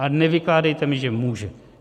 A nevykládejte mi, že může.